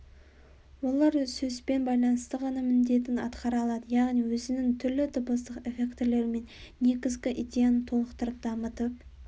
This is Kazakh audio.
олар сөзбен байланыста ғана міндетін атқара алады яғни өзінің түрлі дыбыстық эффектілерімен негізгі идеяны толықтырып дамытып